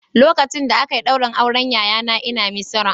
Lokacin da aka yi ɗaurin auren yayana ina Misira